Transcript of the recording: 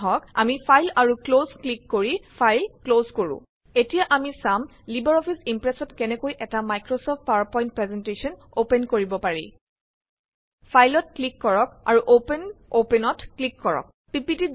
আহক আমি ফাইল আৰু ক্লজক্লিক কৰি ফাইল ক্লজ কৰো এতিয়া আমি চাম লিবাৰ অফিচইম্প্ৰেচত কেনেকৈ এটা মাইক্ৰচফট পাৱাৰপইন্ট প্ৰেজেন্টশ্যন অপেন কৰিব পাৰি। ফাইলত ক্লিক কৰক আৰু অপেন gt অপেন কৰক পিপিটি